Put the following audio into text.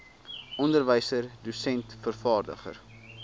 onderwyser dosent vervaardiger